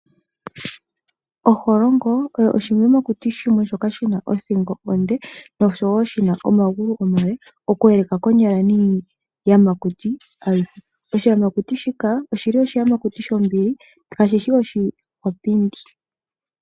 Onduli oyo oshiyamakuti shoka shina othingo onde sho oshina omagulu omale oku eleka miiyamakuti ayihe. Oshiyamakuti shika oshinambili kashishi oshi hahu.